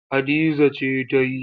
Hadiza ce ta yi.